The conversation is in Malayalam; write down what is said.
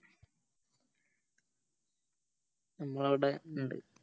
അമ്മളവിടെ ഇണ്ട്